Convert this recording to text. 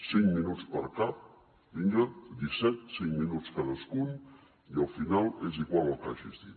cinc minuts per cap vinga disset cinc minuts cadascun i al final és igual el que hagis dit